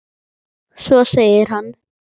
Svo segir hann.